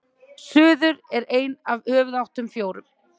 suður er ein af höfuðáttunum fjórum